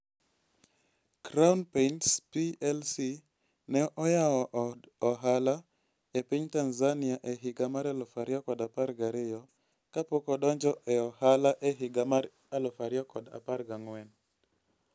Crown Paints Plc ne oyawo od ohala e piny Tanzania e higa mar 2012 kapok odonjo e ohala e higa mar 2014.